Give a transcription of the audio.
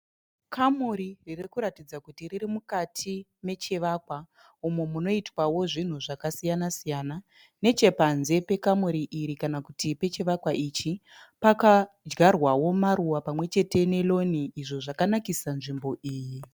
Kamuri riri kuratidza kuti riri mukati mechivakwa umo munoitwao zvinhu zvakasiyana siyana. Nechepanze pekamuri iri kana kuti pechivakwa ichi pakadyarwao maruwa pamwe chete ne loan izvi zvakanakisao nzvimbo iyi.